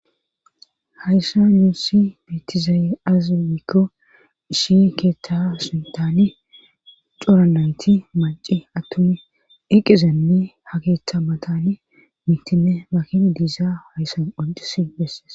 Hayssa nuussi beetizayi azi wiikko ishi keeththa suntani cora nayti maci attuni iqizenni ha keeththa matani mitinne makina diisa hayssan onxisi bessees